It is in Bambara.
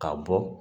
Ka bɔ